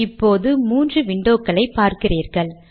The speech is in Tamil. இப்போது மூன்று விண்டோக்களை பார்க்கிறீர்கள்